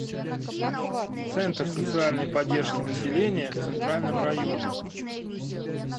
центр социальной поддержки населения в центральном районе